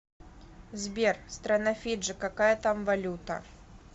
сбер страна фиджи какая там валюта